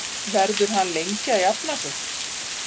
Verður hann lengi að jafna sig?